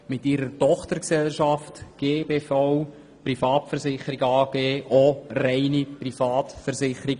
Mit ihrer Tochtergesellschaft GVB Privatversicherung AG konkurrenziert sie jedoch auch reine Privatversicherungen.